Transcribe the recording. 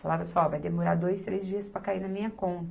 Falava assim ó, vai demorar dois, três dias para cair na minha conta.